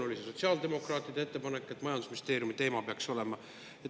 Oli see sotsiaaldemokraatide ettepanek, et see peaks olema majandusministeeriumi teema?